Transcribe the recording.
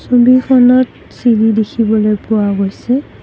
ছবিখন চিৰি দেখিবলৈ পোৱা গৈছে।